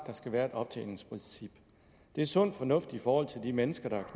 der skal være et optjeningsprincip det er sund fornuft i forhold til de mennesker der